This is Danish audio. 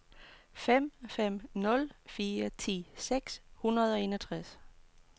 fem fem nul fire ti seks hundrede og enogtres